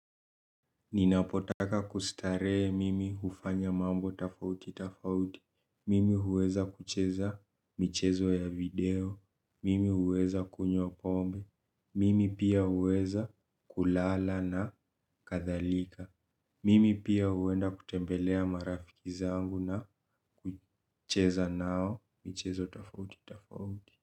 Ninapotaka kustaree mimi ufanya mambo tafauti tafauti, mimi huweza kucheza michezo ya video, mimi huweza kunywa pombe, mimi pia huweza kulala na kathalika, mimi pia huwenda kutembelea marafiki zangu na kucheza nao michezo tafauti tafauti.